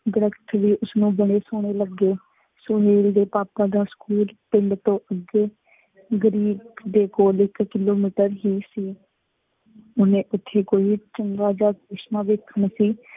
ਦਰੱਖਤ ਵੀ ਉਸ ਨੂੰ ਬੜੇ ਸੋਹਣੇ ਲੱਗੇ। ਸੁਹੇਲ ਦੇ ਪਾਪਾ ਦਾ ਸਕੂਲ ਪਿੰਡ ਤੋਂ ਅੱਗੇ ਦੇ ਕੋਲ ਇੱਕ ਕਿਲੋਮੀਟਰ ਹੀ ਸੀ। ਉਹਨੇ ਉੱਥੇ ਕੋਈ ਚੰਗਾ ਜਿਹਾ ਚਸ਼ਮਾ ਵੇਖਣਾ ਸੀ।